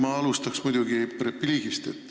Ma alustan repliigist.